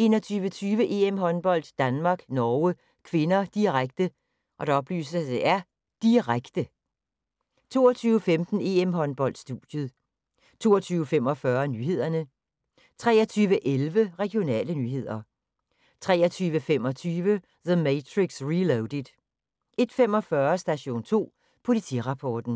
21:20: EM-håndbold: Danmark-Norge (k), direkte, direkte 22:15: EM-håndbold: Studiet 22:45: Nyhederne 23:11: Regionale nyheder 23:25: The Matrix Reloaded 01:45: Station 2 Politirapporten